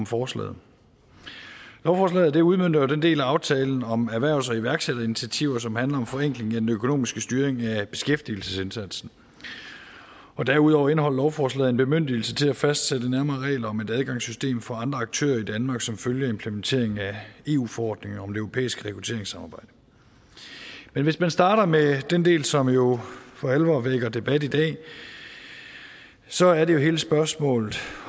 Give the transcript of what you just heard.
forslaget lovforslaget udmønter jo den del af aftalen om erhvervs og iværksætterinitiativer som handler om forenkling af den økonomiske styring af beskæftigelsesindsatsen derudover indeholder lovforslaget en bemyndigelse til at fastsætte nærmere regler om et adgangssystem for andre aktører i danmark som følge af implementeringen af eu forordningen om det europæiske rekrutteringssamarbejde men hvis man starter med den del som jo for alvor vækker debat i dag så er det hele spørgsmålet